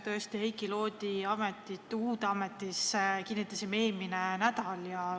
Tõesti, Heiki Loodi kinnitasime uude ametisse eelmine nädal.